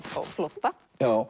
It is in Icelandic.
flótta